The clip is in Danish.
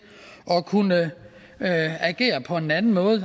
at kunne agere på en anden måde